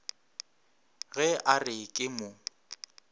ge a re ke mo